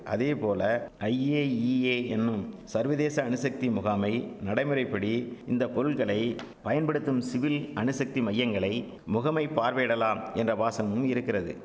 அதேபோல ஐஏஇஏ என்னும் சர்வதேச அணுசக்தி முகாமை நடைமுறைப்படி இந்த பொருள்களை பயன்படுத்தும் சிவில் அணுசக்தி மையங்களை முகமை பார்வையிடலாம் என்ற வாசகமும் இருக்கிறது